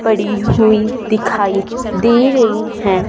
पड़ी हुई दिखाई दे रही है।